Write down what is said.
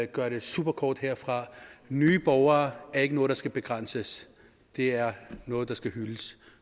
gøre det super kort herfra nye borgere er ikke noget der skal begrænses det er noget der skal hyldes